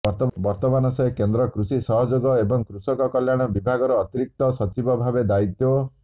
ବର୍ତ୍ତମାନ ସେ କେନ୍ଦ୍ର କୃଷି ସହଯୋଗ ଏବଂ କୃଷକ କଲ୍ୟାଣ ବିଭାଗର ଅତିରିକ୍ତ ସଚିବ ଭାବେ ଦାୟିତ୍ୱ